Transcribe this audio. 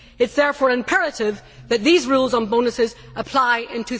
It is therefore imperative that these rules on bonuses apply in